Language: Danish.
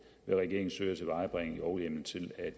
vil regeringen søge at tilvejebringe lovhjemmel til at